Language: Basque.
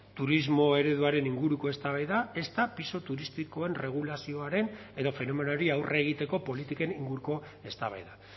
turismo ereduaren inguruko eztabaida ezta pisu turistikoen erregulazioaren edo fenomenoari aurre egiteko politiken inguruko eztabaida